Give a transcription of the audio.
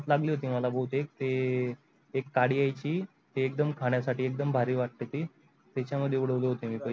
लागली होती मला बहुतेक ते एक काडी यायची ते एकदम खाण्यासाठी एकदम भारी वाटे ती त्याचा मध्ये उडवले होते मी पैशे.